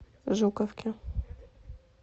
жуковке